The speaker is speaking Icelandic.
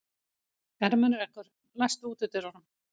Ermenrekur, læstu útidyrunum.